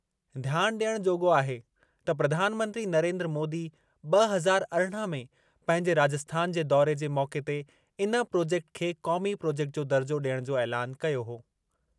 ध्यान ॾियणु जोॻो आहे त प्रधानमंत्री नरेन्द्र मोदी ब॒ हज़ार अरिड़हं में पंहिंजे राजस्थान जे दौरे जे मौक़े ते इन प्रोजेक्ट खे क़ौमी प्रोजेक्ट जो दर्जो डि॒यणु जो ऐलानु कयो हो।